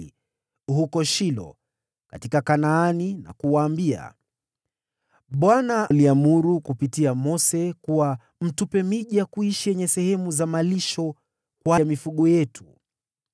huko Shilo katika Kanaani na kuwaambia, “ Bwana aliamuru kupitia Mose kuwa mtupe miji ya kuishi yenye sehemu za malisho kwa mifugo yetu.”